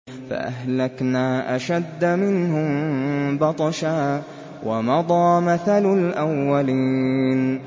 فَأَهْلَكْنَا أَشَدَّ مِنْهُم بَطْشًا وَمَضَىٰ مَثَلُ الْأَوَّلِينَ